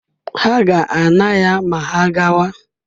Ha ga-ana ya ma ha gawa.